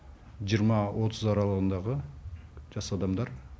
жиырма отыз аралығындағы жас адамдар